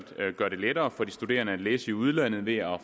gøre det lettere for de studerende at læse i udlandet det er